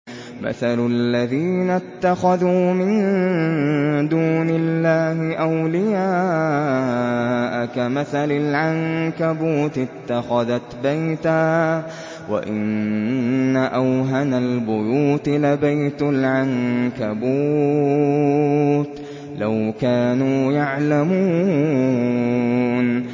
مَثَلُ الَّذِينَ اتَّخَذُوا مِن دُونِ اللَّهِ أَوْلِيَاءَ كَمَثَلِ الْعَنكَبُوتِ اتَّخَذَتْ بَيْتًا ۖ وَإِنَّ أَوْهَنَ الْبُيُوتِ لَبَيْتُ الْعَنكَبُوتِ ۖ لَوْ كَانُوا يَعْلَمُونَ